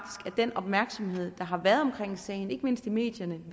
at den opmærksomhed der har været omkring sagen ikke mindst i medierne